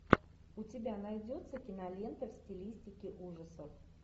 у тебя найдется кинолента в стилистике ужасов